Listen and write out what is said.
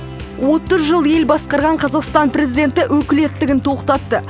отыз жыл ел басқарған қазақстан президенті өкілеттігін тоқтатты